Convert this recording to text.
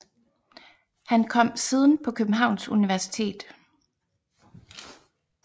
Han kom siden på Københavns Universitet